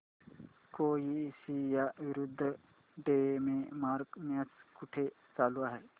Croatia विरुद्ध Denmark match कुठे चालू आहे